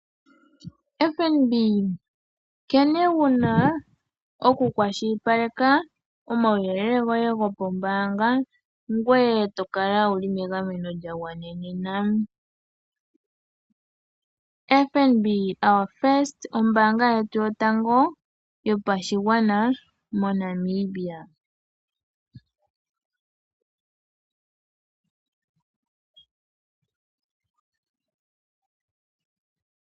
FNB, nkene wuna oku kwashilipaleka omauyelel goye goombanga, ngoye tokala wuli meagameno lya gwanenena, FNB, ano ombanga yotango yopashigwana, mo Namibia.